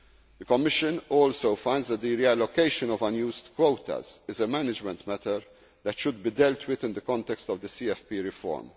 the ground. The Commission also finds that the reallocation of unused quotas is a management matter that should be dealt with in the context of the